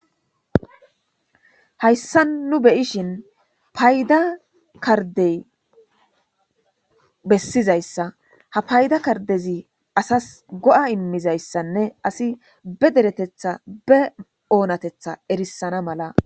hayssa nu beyishin payda kardey bessizayssa ha payda kardezi asas go7a immizayssanne asi be deretetha be oonatetha erissana mala